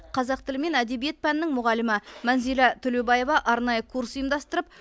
қазақ тілі мен әдебиет пәнінің мұғалімі мәнзилә төлеубаева арнайы курс ұйымдастырып